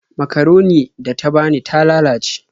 Makaronin da ta bani ta lalace.